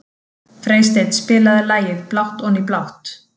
Freysteinn, spilaðu lagið „Blátt oní blátt“.